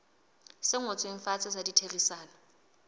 se ngotsweng fatshe sa ditherisano